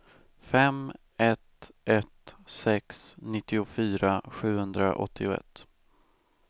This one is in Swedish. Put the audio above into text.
fem ett ett sex nittiofyra sjuhundraåttioett